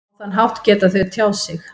Á þann hátt geta þau tjáð sig.